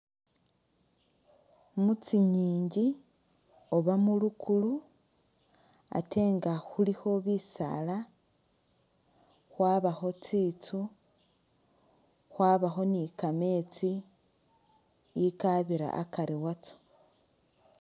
Mutsingingi oba mulukulu ate nga khulikho bisaala, khwabakho tsitsu, khwabakho ni kameetsi akabira akari watsyo.